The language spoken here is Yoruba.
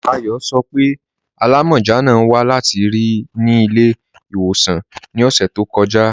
Ayọ sọ́ pé alámọ́já náà wà láti ri ni ilẹ̀-iwosan ni ọṣẹ̀ tó kọja.